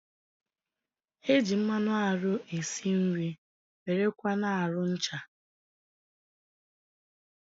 E ji mmanụ arụ e si nri, wéré kwa na arụ ncha